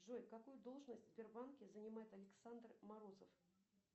джой какую должность в сбербанке занимает александр морозов